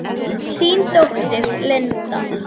Þín dóttir, Linda.